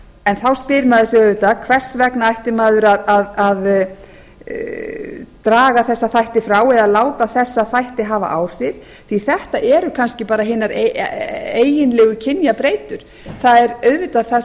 en þá spyr maður sig auðvitað hvers vegna ætti maður að draga þessa þætti frá eða láta þessa þætti hafa áhrif því að þetta eru kannski bara hinar eiginlegu kynjabreytur það er auðvitað það sem